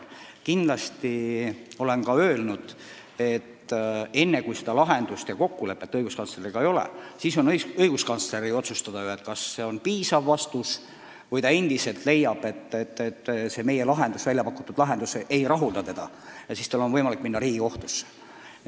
Ma olen ka öelnud, et kui me kokkulepet õiguskantsleriga ei saavuta, siis on tema otsustada, kas ta lepib meie vastusega või leiab endiselt, et meie väljapakutud lahendus ei rahulda teda ja ta läheb Riigikohtusse.